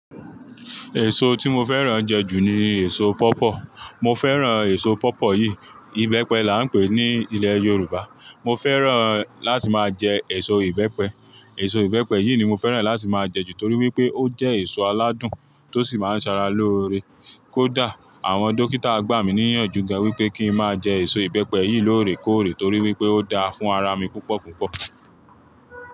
Èso tí mo fẹ́ràn jẹ jù ni èso pọọpọọ. Mo fẹ́ràn èso pọọpọọ yìí, ìbẹ́pẹ là ń pè ní ilẹ̀ Yorùbá. Mo fẹ́ràn láti máa jẹ èso ìbẹ́pẹ. Èso ìbẹ́pẹ yìí ni mo fẹ́ràn láti máa jẹ jù torí wípé ó jẹ́ èso aládùn tó sì máa ń ṣara lóore. Kódà àwọn dókítà gbà mí níyànjú gan wípé kíi máa jẹ èso ìbẹ́pẹ yìí lóore kóòrè torí wípé ó dáa fún ara mi púpọ̀kúnkún.